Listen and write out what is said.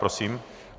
Prosím.